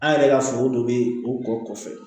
An yɛrɛ ka foro dɔ bɛ o kɔ kɔfɛ